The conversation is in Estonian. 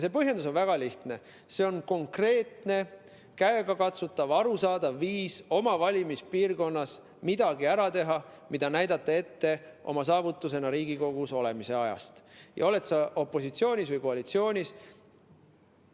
See põhjendus on väga lihtne: see on konkreetne, käegakatsutav, arusaadav viis oma valimispiirkonnas midagi ära teha, mida näidata oma saavutusena Riigikogus olemise ajast, ole sa opositsioonis või koalitsioonis.